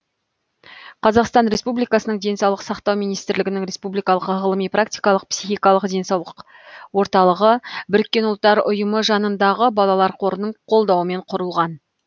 қазақстан республикасының денсаулық сақтау министрлігінің республикалық ғылыми практикалық психикалық денсаулық орталығы біріккен ұлттар ұйымы жанындағы балалар қорының қолдауымен құрылған